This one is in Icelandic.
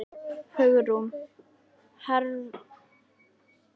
Hugrún: Hefðirðu viljað fá eitthvað annað nafn?